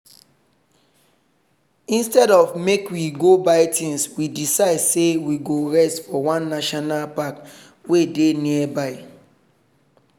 instead of make we go buy things we decide say we go rest for one national park wey dey nearby.